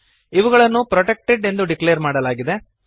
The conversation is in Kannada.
ಇವುಗಳನ್ನು ಪ್ರೊಟೆಕ್ಟೆಡ್ ಎಂದು ಡಿಕ್ಲೇರ್ ಮಾಡಲಾಗಿದೆ